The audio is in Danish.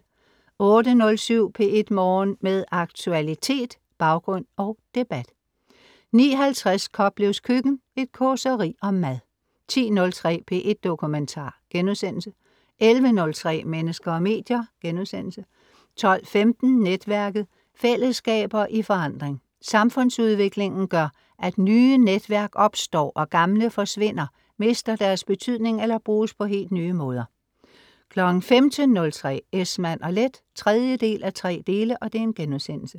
08.07 P1 Morgen. Med aktualitet, baggrund og debat 09.50 Koplevs Køkken. Et causeri om mad 10.03 P1 Dokumentar* 11.03 Mennesker og medier* 12.15 Netværket. Fællesskaber i forandring. Samfundsudviklingen gør, at nye netværk opstår, og gamle forsvinder, mister deres betydning eller bruges på helt nye måder 15.03 Esmann & Leth 3:3*